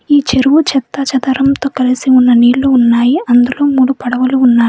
ఈ చెరువు చెత్తా చెదారంతో కలిసి ఉన్న నీళ్ళు ఉన్నాయి అందులో మూడు పడవలు ఉన్నాయి.